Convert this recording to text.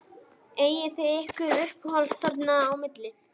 Eigið þið ykkur uppáhald þarna á milli?